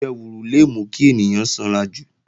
Ìjẹwùrù le mú kí ènìyàn sanrajù